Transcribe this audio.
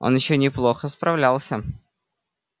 он ещё неплохо справлялся